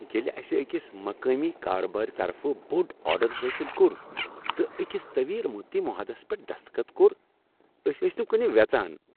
ییٚلہ اسہِ أکِس مقٲمی کاربٲرۍ طرفہٕ بوڈ آرڈر حٲصل کوٚر تہٕ أکس طویل مدتی معاہدس پٮ۪ٹھ دستخط کوٚر أسۍ ٲسۍ نہٕ کُنہ وٮ۪ژان۔